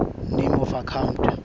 name of account